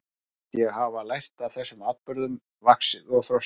Mér fannst ég hafa lært af þessum atburðum, vaxið og þroskast.